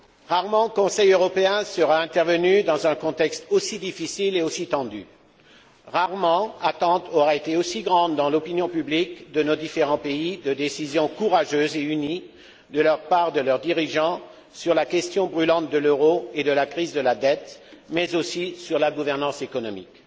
Rarement Conseil européen sera intervenu dans un contexte aussi difficile et aussi tendu. Rarement attente aura été aussi grande dans l'opinion publique de nos différents pays, attente de décisions courageuses et unies de la part de leurs dirigeants sur la question brûlante de l'euro et de la crise de la dette, mais aussi sur la gouvernance économique.